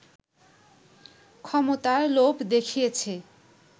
ক্ষমতার লোভ দেখিয়েছে